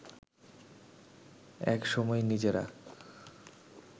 এক সময় নিজেরা